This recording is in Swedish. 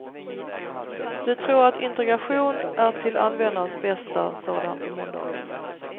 Vi tror att integration är till användarens bästa, sade han på måndagen.